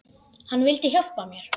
Hann vildi hjálpa mér.